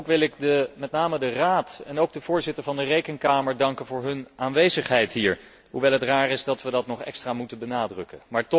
Ook wil ik met name de Raad en ook de voorzitter van de Rekenkamer danken voor hun aanwezigheid hier, hoewel het raar is dat we dat nog extra moeten benadrukken.